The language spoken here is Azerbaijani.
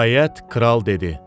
Nəhayət, Kral dedi: